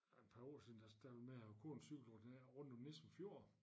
Ah et par år siden der startede vi med at gå og cykle ned rundt om Nissum fjord